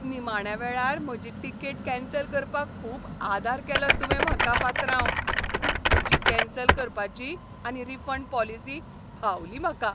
निमाण्या वेळार म्हजी टिकेट कॅन्सल करपाक खूब आदार केलो तुवें म्हाका, पात्रांव. तुजी कॅन्सल करपाची आनी रिफंड पॉलिसी भावली म्हाका.